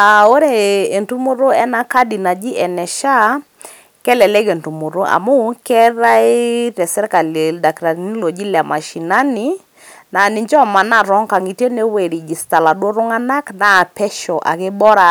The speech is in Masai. Aa ore entumoto ena kadi naji ene SHA kelelek entumoto amu keetae te sirkali ildakitarini loji ile mashinani laa ninche omanaa tonkangitie nepuo ai register iladuoo tunganak naa pesho ake, bora